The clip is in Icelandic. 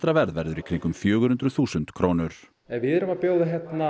verður í kringum fjögur hundruð þúsund krónur við erum að bjóða